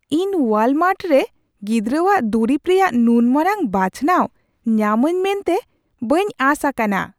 ᱤᱧ ᱳᱣᱟᱞᱢᱟᱨᱴ ᱨᱮ ᱜᱤᱫᱽᱨᱟᱹᱣᱟᱜ ᱫᱩᱨᱤᱵ ᱨᱮᱭᱟᱜ ᱱᱩᱱ ᱢᱟᱨᱟᱝ ᱵᱟᱪᱷᱱᱟᱣ ᱧᱟᱢᱟᱹᱧ ᱢᱮᱱᱛᱮ ᱵᱟᱹᱧ ᱟᱸᱥ ᱟᱠᱟᱱᱟ ᱾